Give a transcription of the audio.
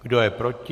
Kdo je proti?